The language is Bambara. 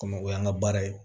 Kɔmi o y'an ka baara ye